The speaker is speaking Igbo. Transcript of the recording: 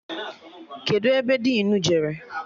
Kedụ ebe dinu jere?